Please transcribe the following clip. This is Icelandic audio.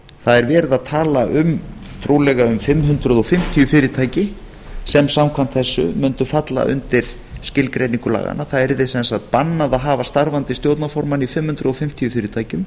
það er verið að tala um trúlega um fimm hundruð fimmtíu fyrirtæki sem samkvæmt þessu mundu falla undir skilgreiningu laganna það yrði sem sagt bannað að hafa starfandi stjórnarformann í fimm hundruð fimmtíu fyrirtækjum